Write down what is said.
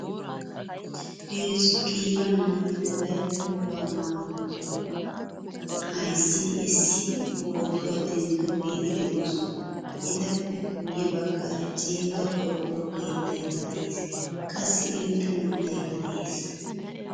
Heezzu qiibaa naata wolayttaa wogaa maayuwaa ayzzidi essidi pootuwaa denttidogetti deosona. Etappe guye baggaara ceega qorqoro keettaykka de'ees. Qassi irxxa mittaykka de'ees.